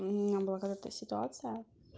у меня благодатная ситуация